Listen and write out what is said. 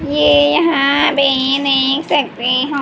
ये यहां पे देख सकते हो--